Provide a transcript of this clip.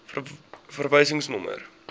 verwysingsnommer